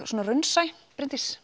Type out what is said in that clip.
raunsæ Bryndís